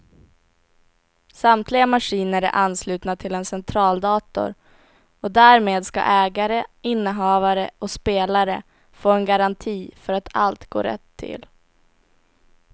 Samtliga maskiner är anslutna till en centraldator och därmed ska ägare, innehavare och spelare få en garanti för att allt går rätt till.